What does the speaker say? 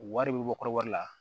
Wari bɛ bɔ kɔrɔba la